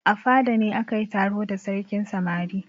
A fada ne aka yi taro da sarkin samari.